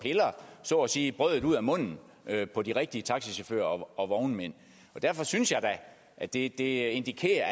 så at sige piller brødet ud af munden på de rigtige taxichauffører og vognmænd derfor synes jeg da at det indikerer